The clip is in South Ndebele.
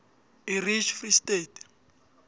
irish free state